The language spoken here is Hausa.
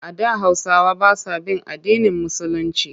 A da Hausawa ba sa bin addinin Musulinci.